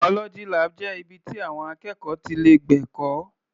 Biology lab jẹ́ ibi ti àwọn akẹ́kọ̀ọ́ ti lè gbẹ̀kọ́.